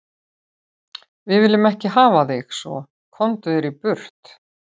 Við viljum ekki hafa þig svo, komdu þér burt.